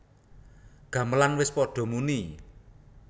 Gamelan wis padha muni